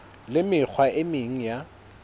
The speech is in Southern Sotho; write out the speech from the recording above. le mekgwa e meng ya